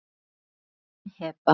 Þín, Heba.